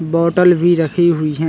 बोतल भी रखी हुई है।